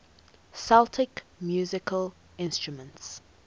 celtic musical instruments